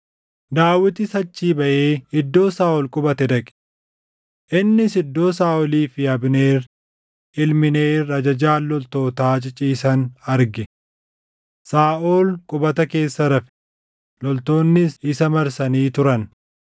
Daawitis achii baʼee iddoo Saaʼol qubate dhaqe. Innis iddoo Saaʼolii fi Abneer ilmi Neer ajajaan loltootaa ciciisan arge. Saaʼol qubata keessa rafe; loltoonnis isa marsanii turan.